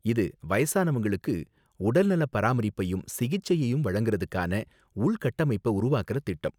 இது வயசானவங்களுக்கு உடல்நலப் பராமரிப்பையும் சிகிச்சையையும் வழங்குறதுக்கான உள்கட்டமைப்ப உருவாக்கற திட்டம்.